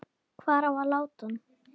Hvar á að láta hann?